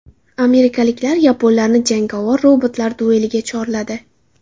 Amerikaliklar yaponlarni jangovar robotlar dueliga chorladi.